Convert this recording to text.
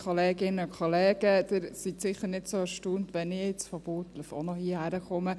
Sie sind sicher nicht so erstaunt, wenn ich jetzt von Burgdorf auch noch komme.